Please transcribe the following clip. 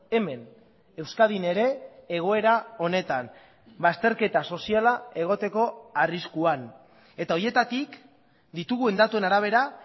hemen euskadin ere egoera honetan bazterketa soziala egoteko arriskuan eta horietatik ditugun datuen arabera